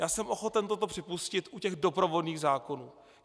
Já jsem ochoten toto připustit u těch doprovodných zákonů.